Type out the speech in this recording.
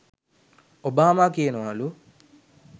Obama කියනවලු